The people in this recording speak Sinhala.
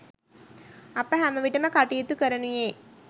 අප හැමවිටම කටයුතු කරනුයේ